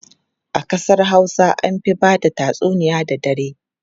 A kasar Hausa an fi ba da tatsuniya da dare.